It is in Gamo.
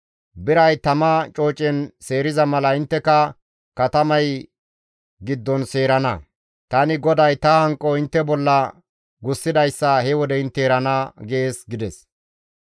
Biray tama coocen seeriza mala intteka katamay giddon seerana. Tani GODAY ta hanqo intte bolla gussidayssa he wode intte erana› gees» gides.